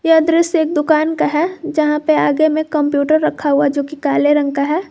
यह दृश्य एक दुकान का है जहां पे आगे में कंप्यूटर रखा हुआ जो कि काले रंग का है।